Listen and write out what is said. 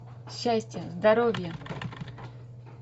счастья здоровья